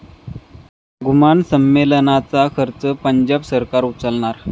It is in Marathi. घुमान संमेलनाचा खर्च पंजाब सरकार उचलणार